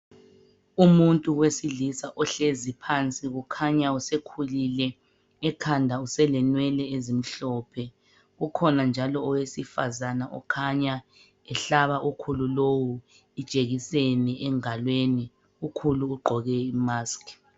Umuntu wesilisa ohlezi phansi kukhanya usekhulile ekhanda selenwele ezimhlophe. Kukhona njalo owesifazana okhanya ehlaba ukhulu lowu ijekiseni engalweni. Ukhulu ugqoke imask